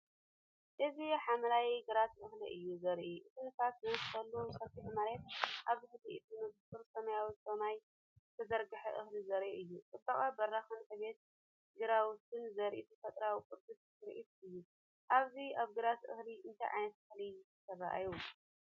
እዚ ሓምላይ ግራት እኽሊ እዩ ዘርኢ። እቲ ንፋስ ዝነፍሰሉ ሰፊሕ መሬት፡ ኣብ ትሕቲ እቲ ንጹር ሰማያዊ ሰማይ ዝተዘርግሐ እኽሊ ዘርኢ እዩ። ጽባቐ በረኻን ዕብየት ግራውትን ዘርኢ ተፈጥሮኣዊ ቅዱስ ትርኢት እዩ። ኣብዚ ኣብ ግራት እኽሊ እንታይ ዓይነት እኽሊ ትርእዩ?